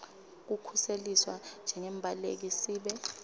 kukhuseliswa njengembaleki sibe